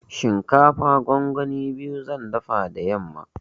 Shinkafa gongoni biyu zan dafa da yamma.